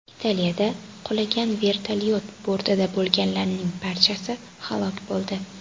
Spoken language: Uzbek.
Italiyada qulagan vertolyot bortida bo‘lganlarning barchasi halok bo‘ldi.